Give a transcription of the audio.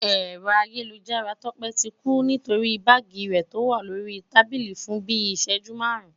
ẹ̀rọ ayélujára tọ́pẹ́ ti ń dún nínú báàgì rẹ̀ tó wà lórí tábílì fun bíi ị̀ṣẹjú márùn-ún